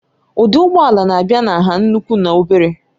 Ụdị ụgbọ ala na-abịa na nha nnukwu na obere